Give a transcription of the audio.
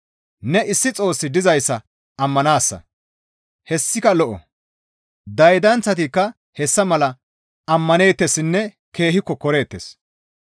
ne, «Issi Xoossi dizayssa ammanaasa» hessika lo7o; daydanththatikka hessa mala ammaneettessinne keehi kokkoreettes.